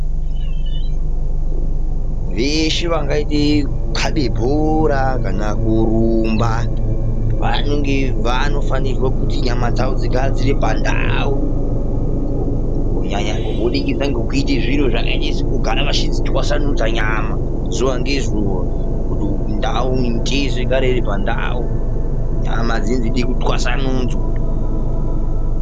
Veshe vangaita zvekukhabe bhora kana kurumba, vanofanirwa kuti nyama dzavo dzigare dziri pandau. Kunyanya vachiita zviro zvakaita sekugara pashi vachidzitwasanudza nyama zuwa ngezuwa. Kuti mitezo igare iri pandau. Nyama dzinenge dzeida kutwasanudzwa.